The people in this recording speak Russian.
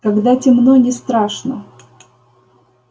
когда темно не страшно